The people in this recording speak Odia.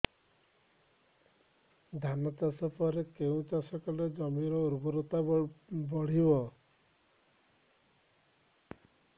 ଧାନ ଚାଷ ପରେ କେଉଁ ଚାଷ କଲେ ଜମିର ଉର୍ବରତା ବଢିବ